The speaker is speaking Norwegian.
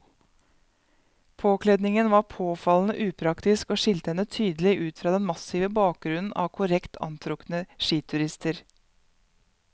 Påkledningen var påfallende upraktisk og skilte henne tydelig ut fra den massive bakgrunnen av korrekt antrukne skiturister.